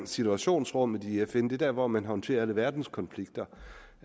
situationsrummet i fn det er der hvor man håndterer alle verdens konflikter